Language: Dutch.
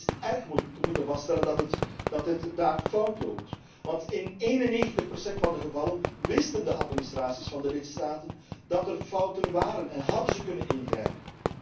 Het is erg te moeten vaststellen dat het daar fout loopt, want in 91 procent van de gevallen wisten de administraties van de lidstaten dat er fouten waren en hadden ze kunnen ingrijpen.